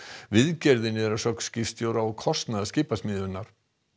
viðgerðin er að sögn skipstjóra á kostnað skipasmíðastöðvarinnar